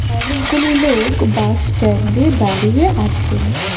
অনেকগুলি লোক বাসস্ট্যান্ডে দাঁড়িয়ে আছেন।